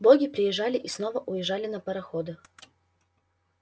боги приезжали и снова уезжали на пароходах